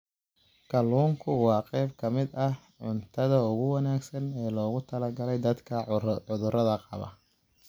Kalluunku waa qayb ka mid ah cuntada ugu wanaagsan ee loogu talagalay dadka cudurrada qaba.